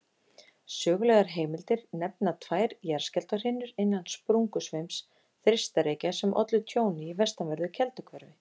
Sögulegar heimildir nefna tvær jarðskjálftahrinur innan sprungusveims Þeistareykja sem ollu tjóni í vestanverðu Kelduhverfi.